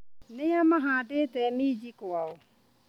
Nĩa mahandĩte minji kwao.